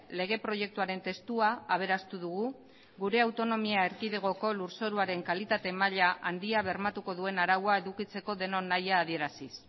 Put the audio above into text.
lege proiektuaren testua aberastu dugu gure autonomia erkidegoko lurzoruaren kalitate maila handia bermatuko duen araua edukitzeko denon nahia adieraziz